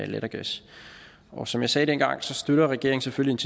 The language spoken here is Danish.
lattergas og som jeg sagde dengang støtter regeringen selvfølgelig